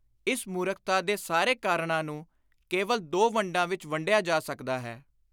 ਇਸ ਮੁਰਖਤਾ ਦੇ ਸਾਰੇ ਕਾਰਣਾਂ ਨੂੰ ਕੇਵਲ ਦੋ ਵੰਡਾਂ ਵਿਚ ਵੰਡਿਆ ਜਾ ਸਕਦਾ ਹੈ।